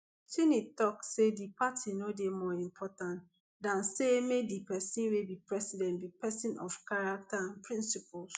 cheney tok say di party no dey more important dan say make di pesin wey be president be pesin of character and principles